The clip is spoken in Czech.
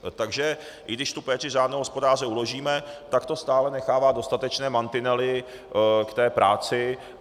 Takže i když tu péči řádného hospodáře uložíme, tak to stále nechává dostatečné mantinely k té práci.